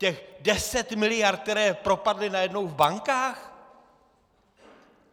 Těch deset miliard, které propadly najednou v bankách?